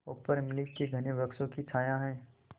ऊपर इमली के घने वृक्षों की छाया है